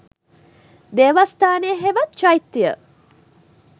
දේවස්ථානය හෙවත් චෛත්‍යය